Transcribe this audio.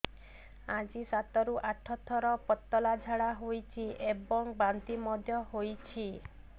ଆଜି ସାତରୁ ଆଠ ଥର ପତଳା ଝାଡ଼ା ହୋଇଛି ଏବଂ ବାନ୍ତି ମଧ୍ୟ ହେଇଛି